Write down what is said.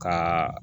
Kaa